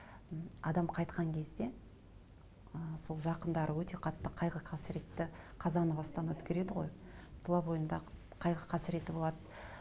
м адам қайтқан кезде ы сол жақындары өте қатты қайғы қасіретті қазаны бастан өткереді ғой тұла бойындағы қайғы қасіреті болады